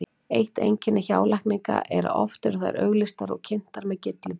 Eitt einkenni hjálækninga er að oft eru þær auglýstar og kynntar með gylliboðum.